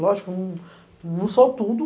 Lógico, não não sou tudo.